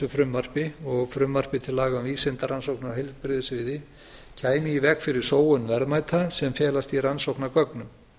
frumvarpi og frumvarpi til laga um vísindarannsóknir á heilbrigðissviði kæmi í veg fyrir sóun verðmæta sem felast í rannsóknargögnum